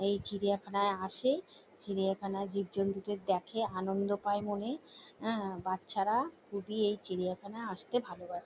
এই চিড়িয়াখানায় আসে চিড়িয়াখানার জীবজন্তুদের দেখে আনন্দ পায় মনে আ বাচ্চারা খুবই এই চিড়িয়াখানায় আসতে ভালোবাস--